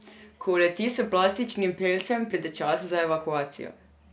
Ko uleti s plastičnim pelcem, pride čas za evakuacijo.